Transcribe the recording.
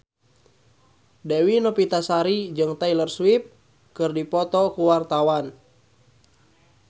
Dewi Novitasari jeung Taylor Swift keur dipoto ku wartawan